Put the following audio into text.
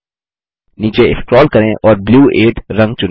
नीचे स्क्रोल करें और ब्लू 8 रंग चुनें